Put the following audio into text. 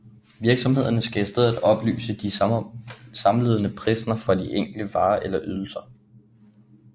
Virksomhederne skal i stedet oplyse de samlede priser for de enkelte varer eller ydelser